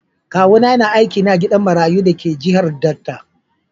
Kawuna yana aiki ne a gidan marayu da ke jihar Delta.